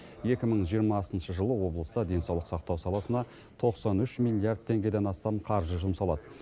екі мың жиырмасыншы жылы облыста денсаулық сақтау саласына тоқсан үш миллиард теңгеден астам қаржы жұмсалады